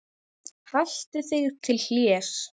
Haltu þig til hlés.